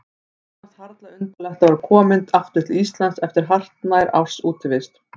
Honum fannst harla undarlegt að vera kominn aftur til Íslands eftir hartnær árs útivist.